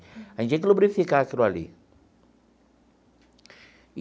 A gente tinha que lubrificar aquilo ali.